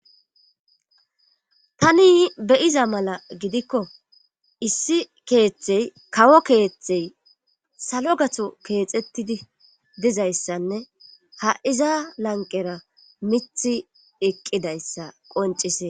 Tani beyiza mala gidikko issi keeththey kawo keeththey salo gato keexettidi dizayssanne ha iza lanqera mithi eqqidayssa qoncisee